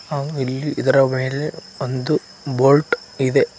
ಆ ಇಲ್ಲಿ ಇದರ ಮೇಲೆ ಒಂದು ಬೋಟ್ ಇದೆ.